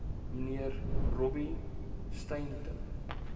mnr robbie stainton